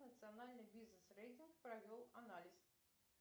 национальный бизнес рейтинг провел анализ